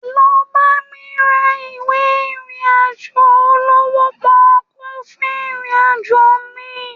Lọ bá mi ra ìwé ìrìn àjò olówó pọ́ọkú fún ìrìn àjò mi